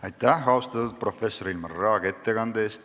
Aitäh, austatud professor Ilmar Raag ettekande eest!